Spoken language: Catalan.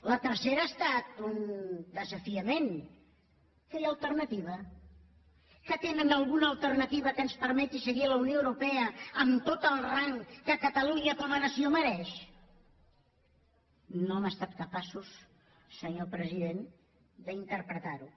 la tercera ha estat un desafiament que hi ha alternativa que tenen alguna alternativa que ens permeti seguir a la unió europea amb tot el rang que catalunya com a nació mereix no han estat capaços senyor president d’interpretar ho